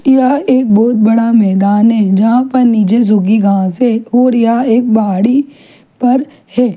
यहाँ एक बहुत बड़ा मैदान है जहाँ पर नीचे सुखी घास है और यह एक पहाड़ी परहै।